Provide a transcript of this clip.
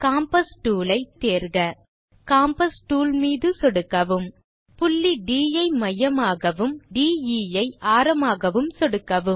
compass tool ஐ tool bar இலிருந்து தேர்க காம்பாஸ் டூல் மீது சொடுக்கவும் புள்ளி ட் ஐ மையமாகவும் மற்றும் டிஇ ஐ ஆரமாகவும் சொடுக்கவும்